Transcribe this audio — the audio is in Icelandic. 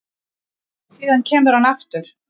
Síðan kemur hann aftur